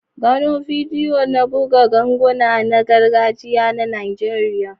Gano bidiyo na buga ganguna na gargajiya na Najeriya.